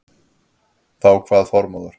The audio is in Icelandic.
Þá kvað Þormóður